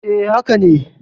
E, haka ne.